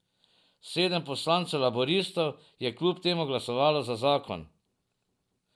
Sedem poslancev laburistov je kljub temu glasovalo za zakon.